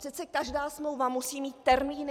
Přece každá smlouva musí mít termíny.